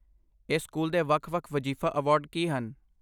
ਇਸ ਸਕੂਲ ਦੇ ਵੱਖ ਵੱਖ ਵਜ਼ੀਫ਼ਾ ਅਵਾਰਡ ਕੀ ਹਨ?